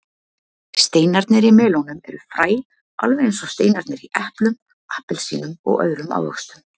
Steinarnir í melónum eru fræ alveg eins og steinarnir í eplum, appelsínum og öðrum ávöxtum.